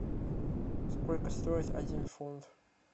сколько стоит один фунт